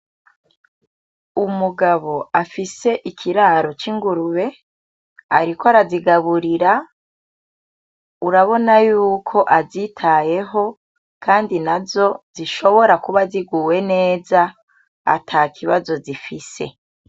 Umugabo afise ikiraro cingurube ariko arazigaburira, urabona yuko azitayeho kandi nazo zishobora kuba ziguwe neza ata kibazo zifise.